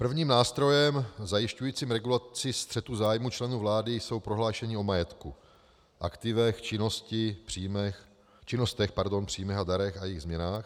Prvním nástrojem zajišťujícím regulaci střetu zájmů členů vlády jsou prohlášení o majetku, aktivech, činnostech, příjmech a darech a jejich změnách.